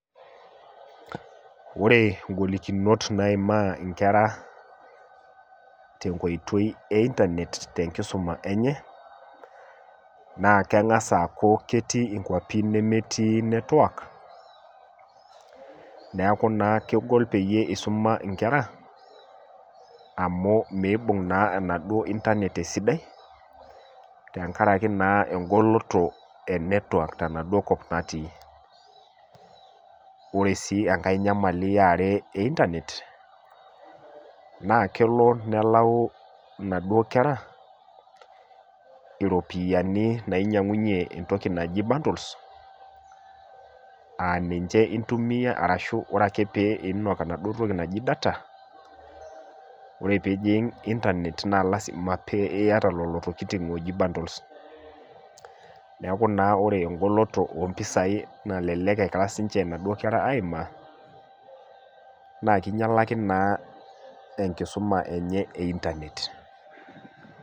Wore ingolikinot naimaa inkera tenkoitoi e internet tenkisuma enye, naa kengas aaku ketii inkiuapin nemetii network, neeku naa kegol peyie isuma inkera, amu miibung naa enaduo internet esidai, tenkaraki naa engoloto e network tenaduo kop natii. Wore sii enkae nyamali eware e internet, naa kelo nelayu inaduo kera iropiyani nainyiangunyie entoki naji bundles, aa ninche intumiyia arashu wore ake pee iinok enaduo toki naji data, wore pee ijing internet naa lasima pee iyata lelo tokitin ooji bundles. Neeku naa wore engoloto oompisai nalelek ekira sinche inaduo kera aimaa, naa kinyialaki naa enkisuma enye e internet.